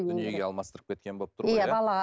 дүниеге алмастырып кеткен болып тұр балаға